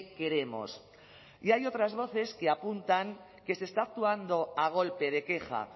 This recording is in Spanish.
queremos y hay otras voces que apuntan que se está actuando a golpe de queja